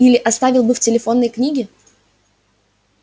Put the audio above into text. и или оставил бы в телефонной книге